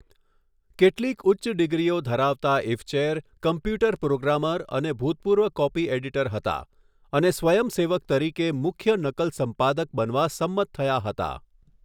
કેટલીક ઉચ્ચ ડિગ્રીઓ ધરાવતા ઇફચેર કમ્પ્યુટર પ્રોગ્રામર અને ભૂતપૂર્વ કોપી એડિટર હતા અને સ્વયંસેવક તરીકે મુખ્ય નકલ સંપાદક બનવા સંમત થયા હતા.